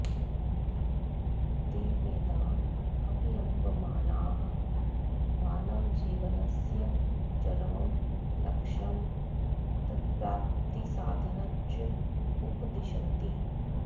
ते वेदान् अवलम्बमानाः मानवजीवनस्य चरमं लक्ष्यं तत्प्राप्तिसाधनञ्च उपदिशन्ति